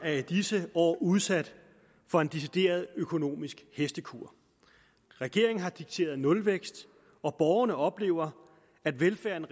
er i disse år udsat for en decideret økonomisk hestekur regeringen har dikteret nulvækst og borgerne oplever at velfærden